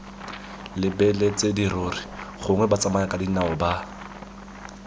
lebeletse dirori gongwe batsamayakadinao ba